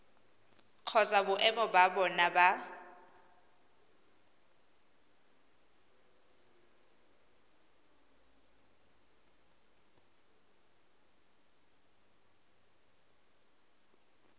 kgotsa boemo ba bona ba